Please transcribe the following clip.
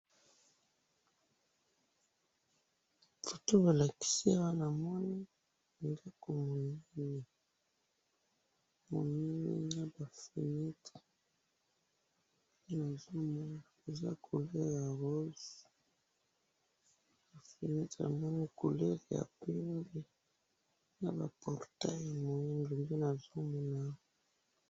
Foto balakisi awa namoni ndaku munene namoni naba fenetre nde namoni awa eza na couleur ya rose fenetre couleur ya pembe naba portail ya mwindu nde nazomona awa.